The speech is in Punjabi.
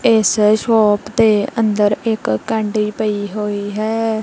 ਇੱਸ ਸ਼ੌਪ ਦੇ ਅੰਦਰ ਇੱਕ ਕੈਂਡੀ ਪਈ ਹੋਈ ਹੈ।